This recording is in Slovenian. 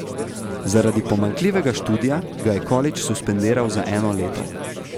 Zaradi pomanjkljivega študija ga je kolidž suspendiral za eno leto.